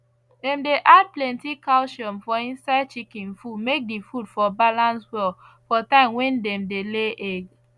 dem dey add plenty calcium for inside chicken food make d food for balance well for time wen dem dey lay egg